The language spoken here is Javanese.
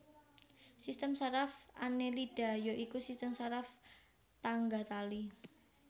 Sistem saraf Annelida ya iku sistem saraf tangga tali